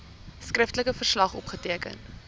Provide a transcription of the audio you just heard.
skriftelike verslag opgeteken